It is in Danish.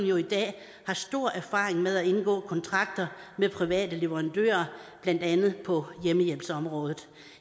jo i dag stor erfaring med at indgå kontrakter med private leverandører blandt andet på hjemmehjælpsområdet